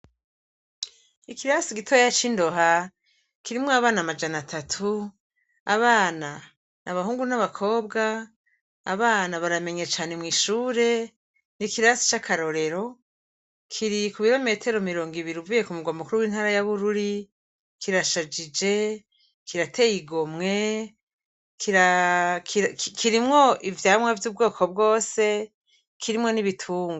Ikirasi gitoya c'i Ndoha kirimwo abana amajana atatu. Abana n'abahungu n'abakobwa. Abana baramenya cane mw'ishure, ni ikirasi c'akarorero, kiri ku birometero mirongo ibiri uvuye ku murwa mukuru w'intara ya Bururi, kirashajije, kirateye igomwe, kirimwo ivyamwa vy'ubwoko bwose, kirimwo n'ibitungwa.